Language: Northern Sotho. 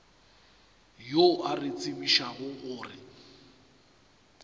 yo a re tsebišago gore